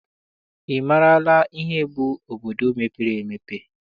Ị maara ihe bụ obodo mepere emepe?